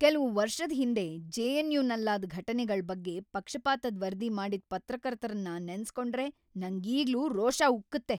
ಕೆಲ್ವು ವರ್ಷದ್ ಹಿಂದೆ ಜೆ.ಎನ್.ಯು.ನಲ್ಲಾದ್ ಘಟನೆಗಳ್ ಬಗ್ಗೆ ಪಕ್ಷಪಾತದ್‌ ವರದಿ ಮಾಡಿದ್ ಪತ್ರಕರ್ತರನ್ನ ನೆನ್ಸ್ಕೊಂಡ್ರೆ ನಂಗೀಗ್ಲೂ ರೋಷ ಉಕ್ಕುತ್ತೆ.